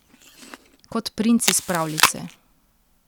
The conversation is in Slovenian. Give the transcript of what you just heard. Kot princ iz pravljice!